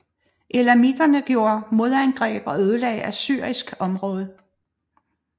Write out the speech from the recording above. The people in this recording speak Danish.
Elamiterne gjorde modangreb og ødelagde assyrisk område